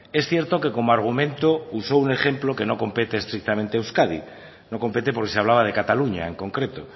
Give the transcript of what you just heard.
es cierto que como argumento usó un ejemplo que no compete estrictamente a euskadi no compete porque se hablaba de cataluña en concreto